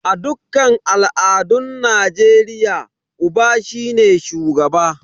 A dukkan al'adun Najeriya, Uba shine shugaba.